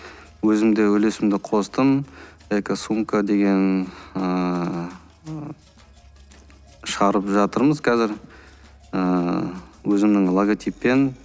өзім де үлесімді қостым экосумка деген ыыы шығарып жатырмыз қазір ыыы өзімнің логотиппен